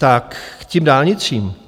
Tak k těm dálnicím.